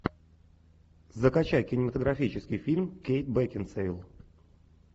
закачай кинематографический фильм кейт бекинсейл